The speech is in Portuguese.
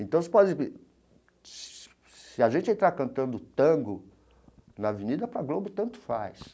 Então, se se a gente entrar cantando tango na avenida, para Globo tanto faz.